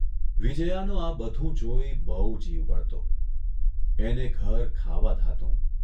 વિજ્યાનો આ બધું જોઇ બહુ જીવ બળતો એને ઘર ખાવા ધાતું.